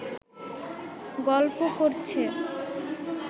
গল্প করছে